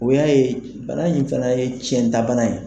O y'a ye bana in fana ye tiɲɛta bana ye.